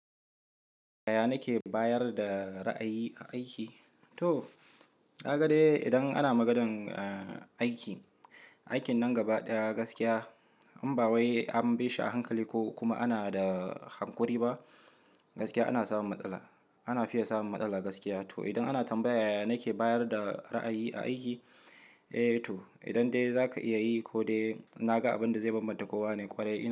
Yaya nake bayar da ra'ayi a aiki? To, kaga dai idan ana magan aiki, aikin nan gaba ɗaya gaskiya, inba wai an bashi a hankali ko kuma ana da hankuri ba, gaskiya ana samun matsala ana fiye samun matsala gaskiya. To, idan ana tambaya yaya nake bayar da ra'ayi a aiki? Eh to, idan dai za ka iya yi ko dai na ga abin da zai bambanta kowa ne ƙwarai.